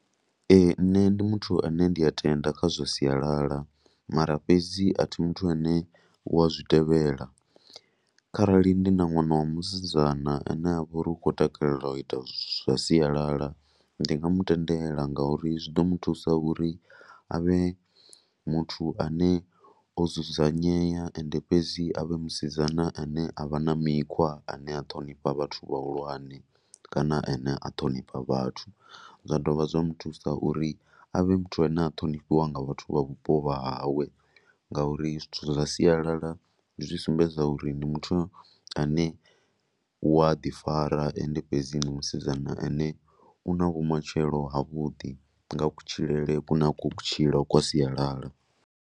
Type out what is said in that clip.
Ee, nṋe ndi muthu ane a tenda kha zwa sialala mara fhedzi a thi muthu ane u a zwi tevhela. Kharali ndi na ṅwana wa musidzana ane a vha uri u khou takalela u ita zwithu zwa sialala ndi nga mu tendela ngauri zwi ḓo mu thusa uri a vhe muthu ane o dzudzanyea. Ende fhedzi a vhe musidzana ane u na mikhwa ane a ṱhonifha vhathu vhahulwane kana ane a ṱhonifha vhathu. Zwa dovha zwa mu thusa uri a vhe muthu ane a ṱhonifhiwa nga vhathu vha vhupo vha hawe ngauri zwithu zwa sialala zwi sumbedza uri ndi muthu ane u ya ḓifara. Ende fhedzi ndi musidzana ane u na vhumatshelo havhuḓi nga kutshilele kune a khou ku tshila kwa sialala.